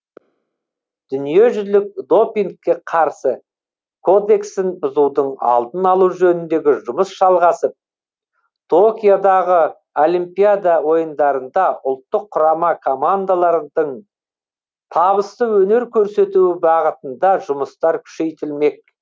дүниежүзілік допингке қарсы кодексін бұзудың алдын алу жөніндегі жұмыс жалғасып токиодағы олимпиада ойындарында ұлттық құрама командалардың табысты өнер көрсетуі бағытында жұмыстар күшейтілмек